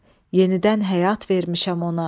Yenidən həyat vermişəm ona.